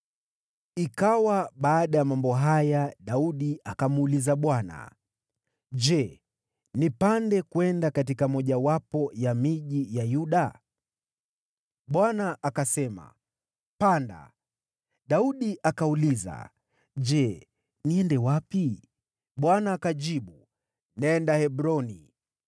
Ikawa baada ya mambo haya, Daudi akamuuliza Bwana , “Je, nipande kwenda katika mojawapo ya miji ya Yuda?” Bwana akasema, “Panda.” Daudi akauliza, “Je, niende wapi?” Bwana akajibu, “Nenda Hebroni.”